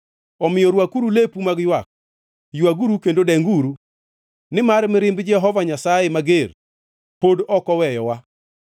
Omiyo rwakuru lepu mag ywak, ywaguru kendo denguru, nimar mirimb Jehova Nyasaye mager pod ok oweyowa.